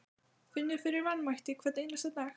Finnur fyrir vanmætti hvern einasta dag.